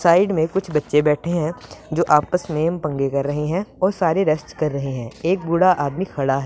side में कुछ बच्चे बैठे हैं जो आपस में पंगे कर रहे है और सारे रेस्ट कर रहे है एक बूढ़ा आदमी खड़ा --